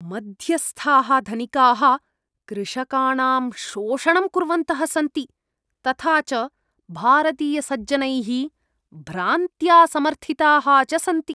मध्यस्थाः धनिकाः कृषकाणां शोषणं कुर्वन्तः सन्ति, तथा च भारतीयसज्जनैः भ्रान्त्या समर्थिताः च सन्ति।